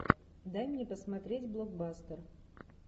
дай мне посмотреть блокбастер